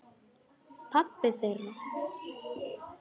Pabbi þeirra?